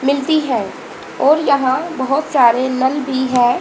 मिलती है और यहां बहोत सारे नल भी है।